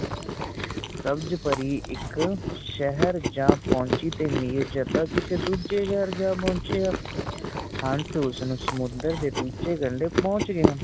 ਸਬਜ਼ ਪਰੀ ਇਕ ਸ਼ਹਿਰ ਜਾ ਪੋਚੀ ਤੇ ਮਿਰਜਦਾ ਕਿਸੇ ਦੋਜੇ ਸ਼ਹਿਰ ਜਾਂ ਪਹੁੰਚਿਆ ਹੰਸ ਉਸਨੂੰ ਸੁਮੰਦਰ ਦੇ ਦੂਜੇ ਕਡ਼ੇ ਪੋਚ ਗਿਆ